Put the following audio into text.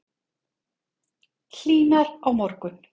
Hlýnar á morgun